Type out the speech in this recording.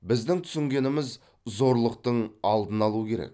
біздің түсінгеніміз зорлықтың алдын алу керек